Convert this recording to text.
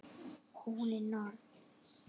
Og hún er norn.